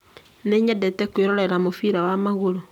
Nĩ nyendete kwĩrorera mũbira wa magũrũ